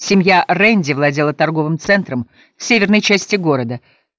семья рэнди владела торговым центром в северной части города